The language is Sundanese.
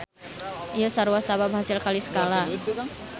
Ieu sarua sabab hasil kali skala.